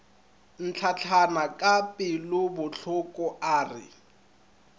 ntlatlana ka pelobohloko a re